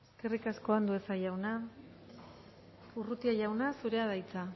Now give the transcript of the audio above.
eskerrik asko andueza jauna urrutia jauna zurea da hitza